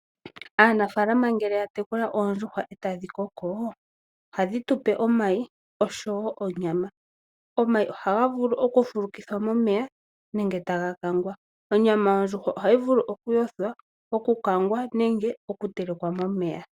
Aanafaalama ngele yatekula oondjuhwa etadhi koko, ohadhi tupe omayi oshowoo onyama. Omayi ohaga vulu okufulukithwa momeya nenge taga kangwa. Onyama yondjuhwa ohayi vulu okuyothwa, okukangwa nenge okutelekwa momeya.